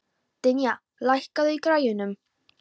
Dynja, lækkaðu í græjunum.